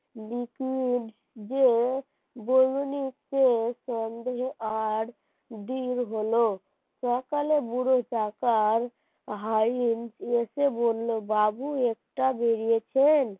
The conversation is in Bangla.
সন্দেহ আরো দৃঢ় হল, সকালে বুড়ো চাচার হাই এন এসে বলল বাবু একটা বেরিয়েছেন,